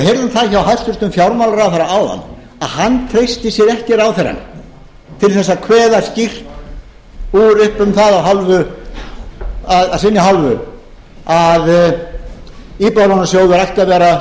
heyrðum það hjá hæstvirtum fjármálaráðherra áðan að hann treysti sér ekki ráðherrann til að kveða skýrt upp úr um það af sinni hálfu að íbúðalánasjóður ætti að vera